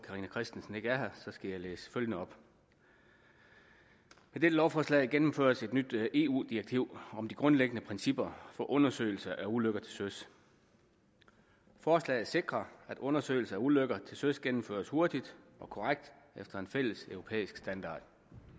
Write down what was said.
carina christensen ikke er her skal jeg læse følgende op med dette lovforslag gennemføres et nyt eu direktiv om de grundlæggende principper for undersøgelse af ulykker til søs forslaget sikrer at undersøgelse af ulykker til søs gennemføres hurtigt og korrekt efter en fælleseuropæisk standard